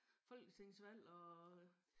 Folketingsvalg og